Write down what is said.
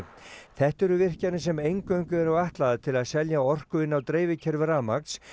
þetta eru virkjanir sem eingöngu eru ætlaðar til að selja orku inn á dreifikerfi rafmagns